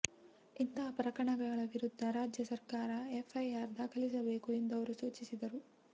ಇಂತಹ ಪ್ರಕರಣಗಳ ವಿರುದ್ಧ ರಾಜ್ಯ ಸರ್ಕಾರ ಎಫ್ಐಆರ್ ದಾಖಲಿಸಬೇಕು ಎಂದು ಅವರು ಸೂಚಿಸಿದರು